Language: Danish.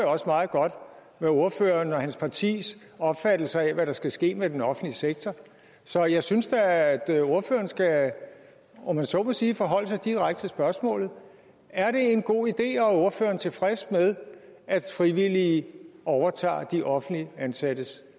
meget godt med ordførerens og hans partis opfattelse af hvad der skal ske med den offentlige sektor så jeg synes da at ordføreren skal om man så må sige forholde sig direkte til spørgsmålet er det en god idé og er ordføreren tilfreds med at frivillige overtager de offentligt ansattes